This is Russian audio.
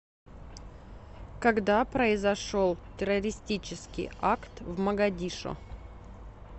когда произошел террористический акт в могадишо